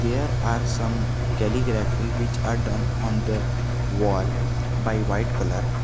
There are some calligraphy which are done on the wall by white colour.